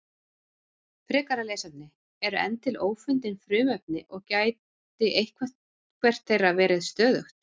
Frekara lesefni: Eru enn til ófundin frumefni og gæti eitthvert þeirra verið stöðugt?